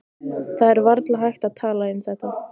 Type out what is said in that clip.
Það er varla hægt að tala um þetta.